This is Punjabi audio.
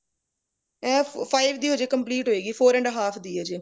ਐ five ਦੀ ਅਜੇ complete ਹੋਏਗੀ four and half ਦੀ ਐ ਅਜੇ